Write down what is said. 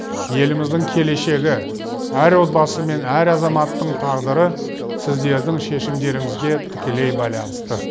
еліміздің келешегі әр отбасы мен әр азаматтың тағдыры сіздердің шешімдеріңізге тікелей байланысты